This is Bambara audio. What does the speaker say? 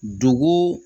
Dugu